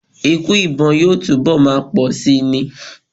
Ikú ìbọn yóò túnbọ̀ máa pọ̀ síi ni.